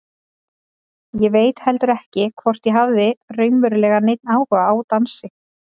Ég veit heldur ekki hvort ég hafði raunverulega neinn áhuga á dansi.